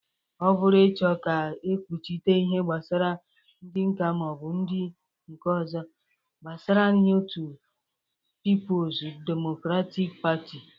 Ọ bụrụ ịchọ ka ekpuchite ihe gbasara ndị nka ma o bụ ndị nke ọzọ. gbasarai otu pipulz demokratik patị